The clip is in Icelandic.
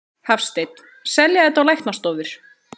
Hafsteinn: Selja þetta á læknastofur?